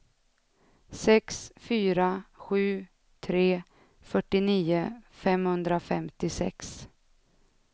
sex fyra sju tre fyrtionio femhundrafemtiosex